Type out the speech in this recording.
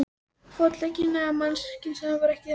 Fótleggina ef mannkynssagan væri ekki ennþá búin.